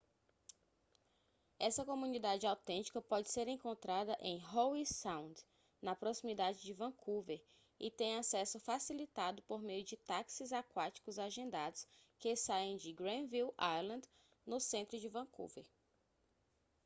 essa comunidade autêntica pode ser encontrada em howe sound na proximidade de vancouver e tem acesso facilitado por meio de táxis aquáticos agendados que saem de granville island no centro de vancouver